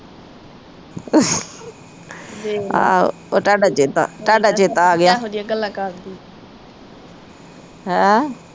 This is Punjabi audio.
ਆਹੋ ਉਹ ਤੁਹਾਡਾ ਚੇਤਾ, ਤੁਹਾਡਾ ਚੇਤਾ ਆਗਿਆ ਹੈਂ